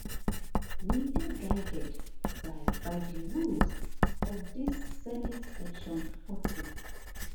we dey guided by by di rules of dis senate section forty